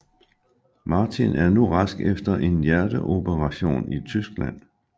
Martin er nu rask efter en hjerteoperation i Tyskland